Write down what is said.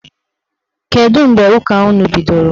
Kedụ mgbe ụka unu bidoro?